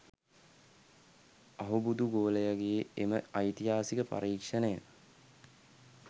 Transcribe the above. අහුබුදු ගෝලයගෙ එම ඓතිහාසික පරීක්ෂණය